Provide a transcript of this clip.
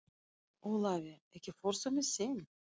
Ólafía, ekki fórstu með þeim?